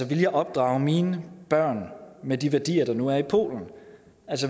ville jeg opdrage mine børn med de værdier der nu er i polen